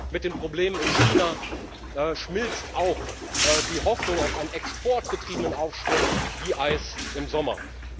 Mit dem Problem in China schmilzt auch die Hoffnung auf einen exportgetriebenen Aufschwung wie Eis im Sommer.